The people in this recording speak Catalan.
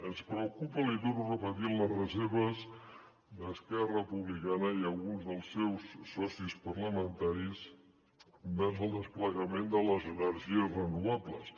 ens preocupen l’hi torno a repetir les reserves d’esquerra republicana i alguns dels seus socis parlamentaris envers el desplegament de les energies renovables